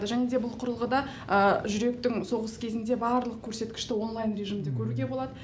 және де бұл құрылғыда жүректің соғыс кезінде барлық көрсеткішті онлайн режимде көруге болады